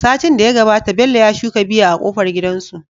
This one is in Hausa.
Satin da ya gabata Bello ya shuka biya a kofar gidansu